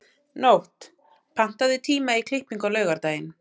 Nótt, pantaðu tíma í klippingu á laugardaginn.